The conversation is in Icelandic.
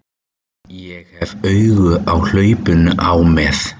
Ég hef augun á hlaupinu á með